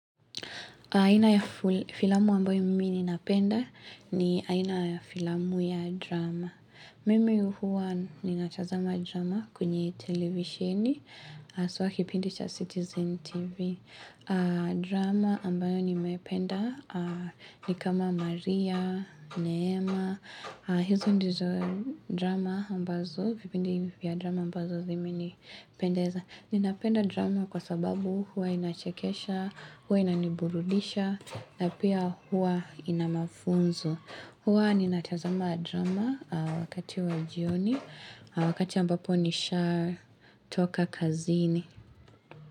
Aina ya filamu ambayo mimi ninapenda ni aina ya filamu ya drama. Mimi huwa ninachazama drama kunye televisheni, aswa kipindi cha Citizen TV. Drama ambayo nimependa ni kama Maria, Neema. Hizo ndizo drama ambazo, kipindi hivi ya drama ambazo zimi nipendeza. Ninapenda drama kwa sababu huwa inachekesha, huwa inaniburudisha, na pia huwa inamafunzo. Huwa ninatazama drama wakati wa jioni, wakati ambapo nisha toka kazini.